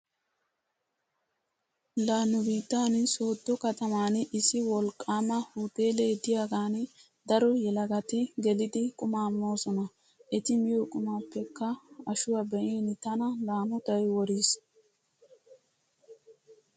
La nu biittan sooddo kataman issi wolqqaama huteelee diyagan daro yelagati gelidi qumaa moosona. Eti miyo qumaappekka ashuwa be'in tana laamotay woriis.